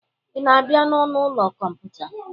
Ị na-abịa n'ọnụ ụlọ kọmputa?